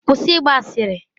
Kwụsị ịgba asịrị!